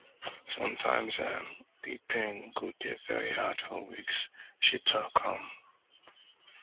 sometimes um di pain go dey vey hard for weeks she tok um